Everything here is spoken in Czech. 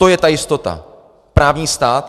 To je ta jistota, právní stát.